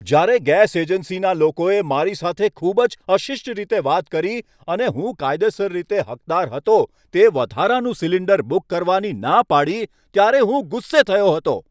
જ્યારે ગેસ એજન્સીના લોકોએ મારી સાથે ખૂબ જ અશિષ્ટ રીતે વાત કરી અને હું કાયદેસર રીતે હકદાર હતો તે વધારાનું સિલિન્ડર બુક કરવાની ના પાડી ત્યારે હું ગુસ્સે થયો હતો.